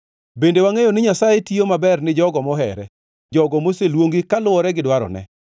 Bende wangʼeyo ni Nyasaye tiyo maber ne jogo mohere, jogo moseluongi kaluwore gi dwarone.